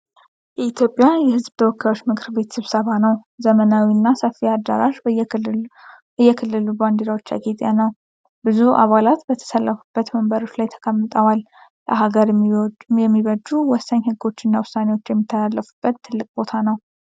የኢትዮጵያ የሕዝብ ተወካዮች ምክር ቤት ስብሰባ ነው። ዘመናዊውና ሰፊው አዳራሽ በየክልሉ ባንዲራዎች ያጌጠ ነው። ብዙ አባላት በተሰለፉበት ወንበሮች ላይ ተቀምጠዋል። ለአገር የሚበጁ ወሳኝ ሕጎችና ውሳኔዎች የሚተላለፉበት ትልቅ ቦታ ነው።